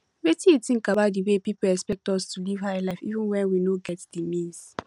wetin you think about di way people expect us to live high life even when we no get di means